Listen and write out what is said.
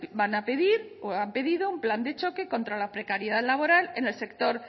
van a pedir o han pedido un plan de choque contra la precariedad laboral en el sector